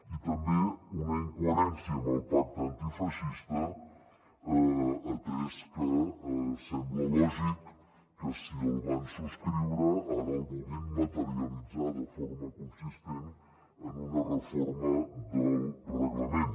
i també una incoherència amb el pacte antifeixista atès que sembla lògic que si el van subscriure ara el vulguin materialitzar de forma consistent en una reforma del reglament